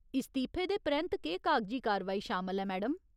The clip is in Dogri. इस्तीफे दे परैंत्त केह् कागजी कार्रवाई शामल ऐ मैडम ?